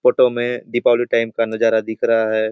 Photo में Deepawali time का नज़ारा दिख रहा है ।